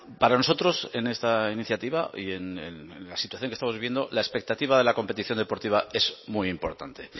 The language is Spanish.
para nosotros en esta iniciativa y en la situación que estamos viviendo la expectativa de la competición deportiva es muy importante